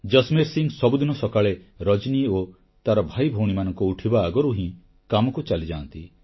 ଜସମେର୍ ସିଂ ସବୁଦିନ ସକାଳେ ରଜନୀ ଓ ତାର ଭାଇଭଉଣୀମାନଙ୍କ ଉଠିବା ଆଗରୁ ହିଁ କାମକୁ ଚାଲିଯାଆନ୍ତି